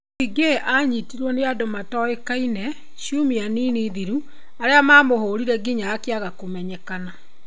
Ziggy anyitiro nĩ andũ matoĩkaine ciumia nini thiru arĩa mamũhũrire nginya akĩaga kũmenyekana.